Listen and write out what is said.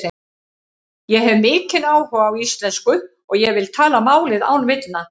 Ég hef mikinn áhuga á íslensku og ég vil tala málið án villna.